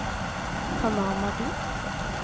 Panama by